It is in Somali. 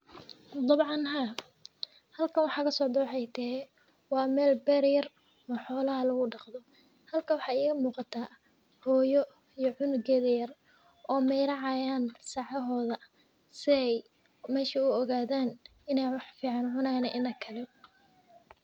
Dabcan ha, halkan waxaa kasocdao waxay tahay wa mel ber eh waxyalaha lagudaqdo. Halkan waxaa igamuqato hooyo iyo cunugeda yar oo meyracayan sacahoda si ay mesha u ogadan in ay wax fican cunayan iyo in kale.